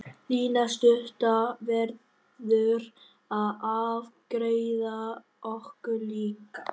Lína stutta verður að afgreiða okkur líka.